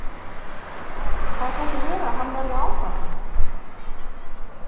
Það gæti verið að hann verði áfram.